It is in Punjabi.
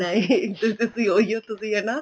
ਖਾਣਾ ਏ ਤੁਸੀਂ ਉਹੀ ਹੋ ਤੁਸੀਂ ਹਨਾ